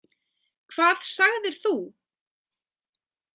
Hvað sagðir þú?